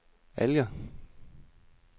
Alger